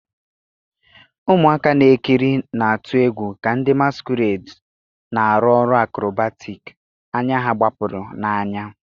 Ụmụaka na-ekiri na-atụ egwu ka ndị masquerades na-arụ ọrụ acrobatic, anya ha gbapụrụ n'anya.